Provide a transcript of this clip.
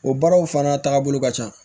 O baaraw fana taabolo ka ca